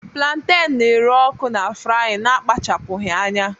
planten na-ere ọkụ na frying na-akpachapụghị anya